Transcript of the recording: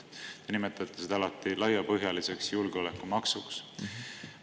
Te nimetate seda alati laiapõhjaliseks julgeolekumaksuks.